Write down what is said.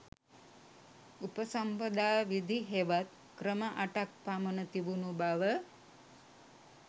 උපසම්පදා විධි හෙවත් ක්‍රම අටක් පමණ තිබුණු බව